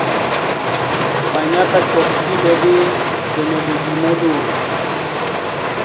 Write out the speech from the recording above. Ma nyaka chop kinde gi osenego ji modhuro